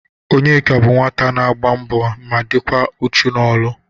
Onyeka bụ nwata na-agba mbọ ma dịkwa uchu n'ọlụ